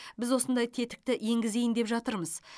біз осындай тетікті енгізейін деп жатырмыз